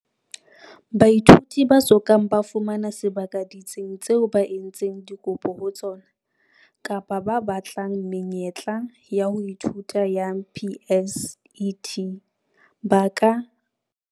Baithuti ba so kang ba fumana sebaka ditsing tseo ba entseng dikopo ho tsona, kapa ba batlang menyetla ya ho ithuta ya PSET, ba ka.